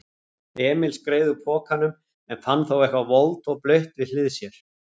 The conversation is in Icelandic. Emil skreið úr pokanum en fann þá eitthvað volgt og blautt við hlið sér.